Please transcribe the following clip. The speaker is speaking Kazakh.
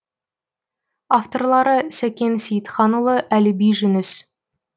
авторлары сәкен сейітханұлы әліби жүніс